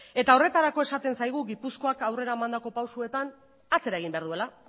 eta horretarako esaten zaigu gipuzkoak aurrera emandako pausuetan atzera egin behar duela